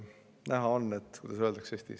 Näha on – kuidas Eestis öeldakse?